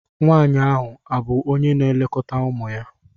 Nwanyị ahụ abụ onye na-elekọta ụmụ ya?